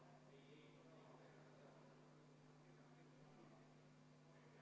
Ma teen ettepaneku, et me võtaks 20 minutit vaheaega.